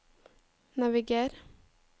naviger